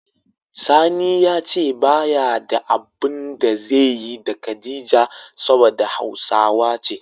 Sani ya ce ba ya da abun da zaiyi da Khadijah saboda hausawa ce.